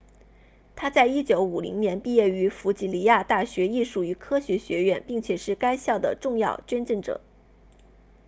他在1950年毕业于弗吉尼亚大学艺术与科学学院并且是该校的重要捐赠者